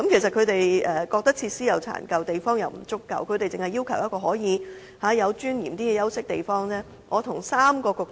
懲教人員認為休息室設施殘舊，地方又不足夠，他們只是要求有一個可以較有尊嚴的休息地方。